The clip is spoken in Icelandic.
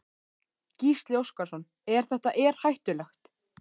Gísli Óskarsson: Er þetta er hættulegt?